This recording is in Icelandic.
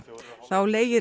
þá leigir